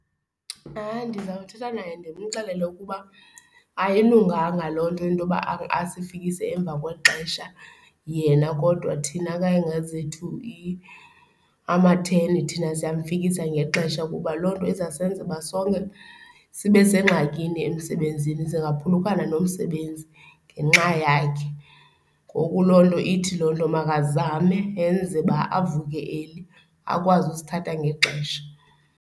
Hayi, ndizawuthetha naye ndimxelele ukuba ayilunganga loo nto, into yoba asifikise emva kwexesha yena kodwa thina kayingezethu amatheni thina siyamfikisa ngexesha, kuba loo nto izawusenza uba sonke sibe sengxakini emsebenzini. Singaphulukana nomsebenzi ngenxa yakhe. Ngoku loo nto, ithi loo nto makazame enze uba avuke early, akwazi usithatha ngexesha.